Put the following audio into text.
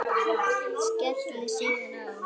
Skellir síðan á.